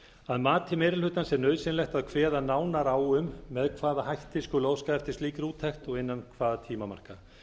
að mati meiri hlutans er nauðsynlegt að kveða nánar á um með hvaða hætti skuli óskað eftir slíkri úttekt og innan hvaða tímamarka